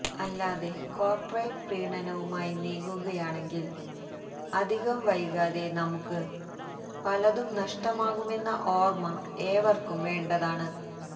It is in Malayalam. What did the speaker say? അല്ലാതെ കോര്പ്പറേറ്റ് പ്രീണനവുമായി നീങ്ങുകയാണെങ്കില് അധികം വൈകാതെ നമ്മുക്ക് പലതും നഷ്ടമാകുമെന്ന ഓര്മ്മ ഏവര്ക്കും വേണ്ടതാണ്